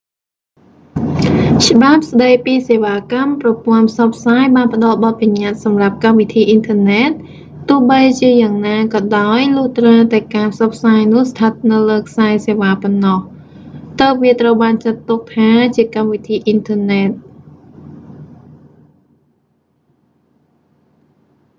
ច្បាប់ស្តីពីសេវាកម្មប្រព័ន្ធផ្សព្វផ្សាយបានផ្តល់បទបញ្ញាត្តិសម្រាប់កម្មវិធីអ៊ីនធឺណែត ទោះបីជាយ៉ាងណាក៏ដោយ លុះត្រាតែការផ្សព្វផ្សាយនោះឋិតនៅលើខ្សែសេវ៉ាប៉ុណ្ណោះ ទើបវាត្រូវបានចាត់ទុកថាជាកម្មវិធីអ៊ីនធឺណែត